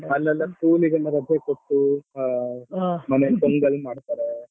ಅಲ್ಲಿಯೆಲ್ಲ school ಗೆ ಎಲ್ಲಾ ರಜೆ ಕೊಟ್ಟು ಮನೇಲ್ ಪೊಂಗಲ್ ಮಾಡ್ತಾರೆ.